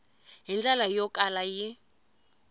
hi ndlela yo kala yi